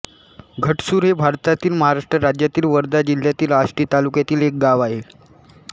घटसूर हे भारतातील महाराष्ट्र राज्यातील वर्धा जिल्ह्यातील आष्टी तालुक्यातील एक गाव आहे